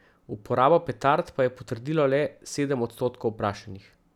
Uporabo petard pa je potrdilo le sedem odstotkov vprašanih.